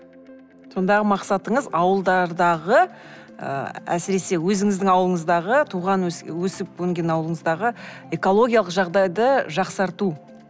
сондағы мақсатыңыз ауылдардағы ы әсіресе өзіңіздің ауылыңыздағы туған өсіп өнген ауылыңыздағы экологиялық жағдайды жақсарту